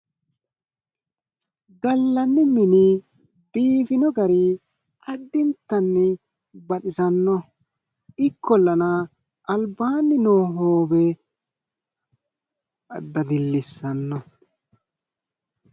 gallanni mini biifino gari addintanni baxisannoho ikkollana albaanni noo hoowe dadillissanno.